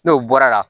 N'o bɔra la